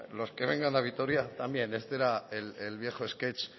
los que vengan a vitoria este era el viejo sketch